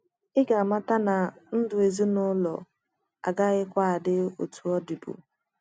Ị ga amata na ndụ ezinụlọ agakwaghị adị otú ọ dịbu. ”